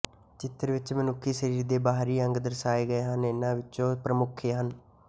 ਚਿਤਰ ਵਿੱਚ ਮਨੁੱਖੀ ਸਰੀਰ ਦੇ ਬਾਹਰੀ ਅੰਗ ਦਰਸਾਏ ਗਏ ਹਨ ਜਿਨ੍ਹਾਂ ਵਿਚੌਂ ਪ੍ਰਮੁੱਖ ਹਨ